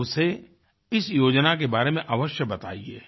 तो उसे इस योजना के बारे में अवश्य बताइये